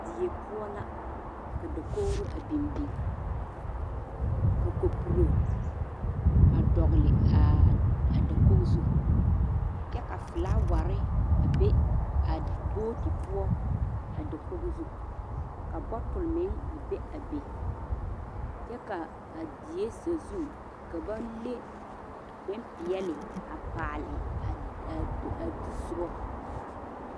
Die poɔ la ka dakogri a biŋ biŋ ka kopuro a dogle a dakogi zu kyɛ ka filaaware a be a booti poɔ a dakogi zu ka botule meŋ be a be kyɛ ka die sazu ka ba leŋ bonpeɛle a paale ai ai ai do soga zaa.